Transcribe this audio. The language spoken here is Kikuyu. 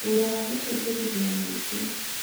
Wĩra wa gũteithĩrĩria mũingĩ